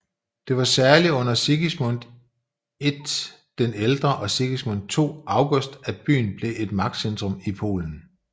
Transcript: Det var særlig under Sigismund I den ældre og Sigismund II August at byen blev et magtcentrum i Polen